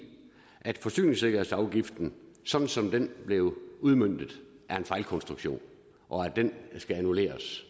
at forsyningssikkerhedsafgiften som som den blev udmøntet er en fejlkonstruktion og at den skal annulleres